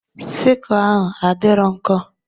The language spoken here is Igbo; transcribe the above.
Sikụl ahụ adịrọ nkọ.